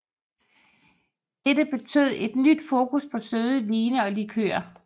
Dette betød et nyt fokus på søde vine og likører